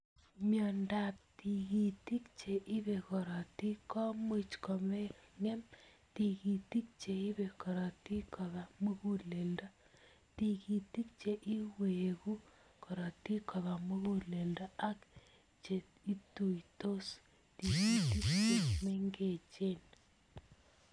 Miondo ap tigitik che ipe korotik ko much kongem tigitik che ipe korotik kopa muguleldo, tigitik che iwegu korotik kopa muguleldo ak che ituitos tigitk che mengechen.